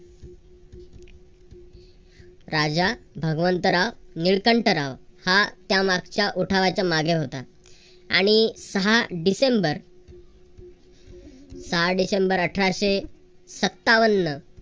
राजा भगवंतराव निळकंठराव हा त्यामागच्या उठावाच्या मागे होता. आणि सहा डिसेंबर सहा डिसेंबर अठराशे सत्तावन्न.